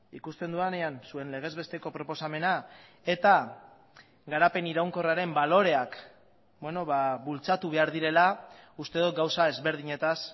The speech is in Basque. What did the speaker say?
ikusten dudanean zuen legezbesteko proposamena eta garapen iraunkorraren baloreak bultzatu behar direla uste dut gauza ezberdinetaz